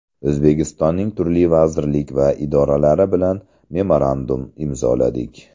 O‘zbekistonning turli vazirlik va idoralari bilan memorandum imzoladik .